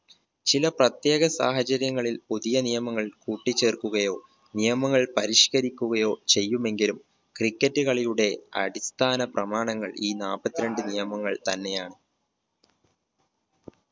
ചില പ്രത്യേക സാഹചര്യങ്ങളിൽ പുതിയ നിയമങ്ങൾ കൂട്ടിച്ചേർക്കുകയോ നിയമങ്ങൾ പരിഷ്കരിക്കുകയോ ചെയ്യുമെങ്കിലും cricket കളിയുടെ അടിസ്ഥാന പ്രമാണങ്ങൾ ഈ നാല്പത്തിരണ്ട് നിയമങ്ങൾ തന്നെയാണ്